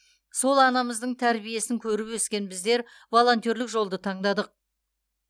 сол анамыздың тәрбиесін көріп өскен біздер волонтерлік жолды таңдадық